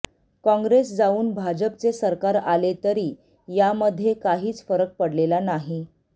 काँग्रेस जाऊन भाजपचे सरकार आले तरी यामध्ये काहीच फरक पडलेला नाही